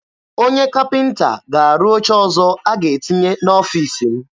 Onye kapịnta ga-arụ oche ọzọ a ga-etinye n'ọfiisi m.